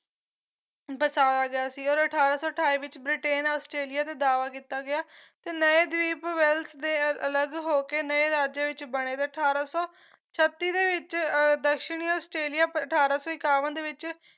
ਵਸਾਇਆ ਗਿਆ ਸੀਗਾ ਤੇ ਅਠਾਰਾਂ ਸੌ ਅਠਾਈ ਵਿੱਚ ਬ੍ਰਿਟੇਨ ਨੇ ਆਸਟ੍ਰੇਲੀਆ ਨੂੰ ਦਾਅਵਾ ਕੀਤਾ ਗਿਆ ਤੇ ਨਏ ਦੀਪ ਵੈਲਸ ਦੇ ਅਲੱਗ ਹੋਕੇ ਨਏ ਰਾਜਿਆ ਵਿੱਚ ਬਣੇ ਤੇ ਅਠਾਰਾਂ ਸੌ ਛੱਤੀ ਤੇ ਵਿੱਚ ਅਹ ਦਕਸ਼ਣੀ ਆਸਟ੍ਰੇਲੀਆ ਪਰ ਅਠਾਰਾਂ ਸੋ ਇਕਾਵਨ ਦੇ ਵਿੱਚ